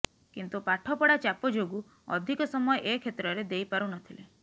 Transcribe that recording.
କିନ୍ତୁ ପାଠପଢ଼ା ଚାପ ଯୋଗୁ ଅଧିକ ସମୟ ଏ କ୍ଷେତ୍ରରେ ଦେଇପାରୁନଥିଲେ